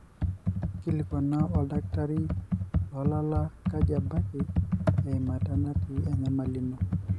inkilikuana oldakitari lolala kaji embaiki eimata natii enyamali ino